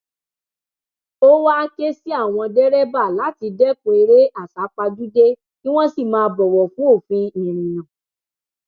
ó wàá ké sí àwọn dẹrẹbà láti dẹkun eré àsápajúdé kí wọn sì máa bọwọ fún òfin ìrìnnà